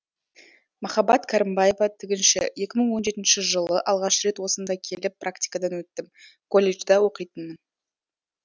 махаббат кәрімбаева тігінші екі мың он жетінші жылы алғаш рет осында келіп практикадан өттім колледжда оқитынмын